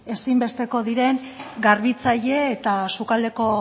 ezinbesteko diren garbitzaile eta sukaldeko